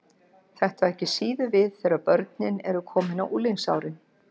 Þetta á ekki síður við þegar börnin eru komin á unglingsárin.